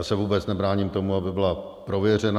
Já se vůbec nebráním tomu, aby byla prověřena.